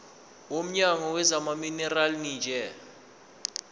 womnyango wezamaminerali neeneji